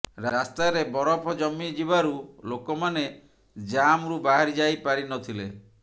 ରାସ୍ତାରେ ବରଫ ଜମି ଯିବାରୁ ଲୋକମାନେ ଜାମ୍ରୁ ବାହାରି ଯାଇ ପାରି ନ ଥିଲେ